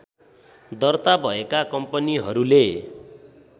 दर्ता भएका कम्पनीहरूले